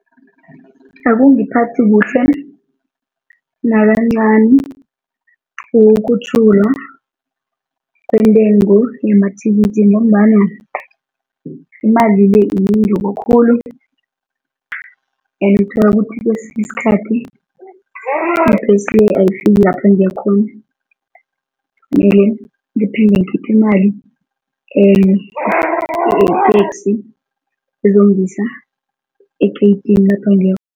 Akungaphathi kuhle nakancani ukukhutjhulwa kwentengo yamathikithi ngombana imali le yinengi and uthola ukuthi kwesinye isikhathi ibhesi le ayifiki lapho engiya khona kumele ngiphinde ngikhiphe imali enye ye-taxi ezongisa egeyidini lapha engiya